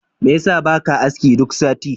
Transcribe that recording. Mai yasa baka aski duk sati?